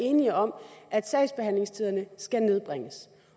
enige om at sagsbehandlingstiderne skal nedbringes